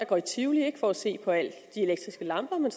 går i tivoli ikke for at se på alle de elektriske lamper men